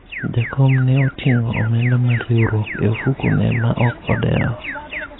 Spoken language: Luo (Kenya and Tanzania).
jakom ne oting'o omenda mar riwruok e ofuku ne ma ok odewo